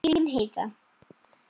Þín Heiða.